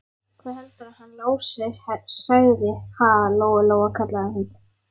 Hvað heldurðu að hann Lási segði, ha, Lóa-Lóa, kallaði hún.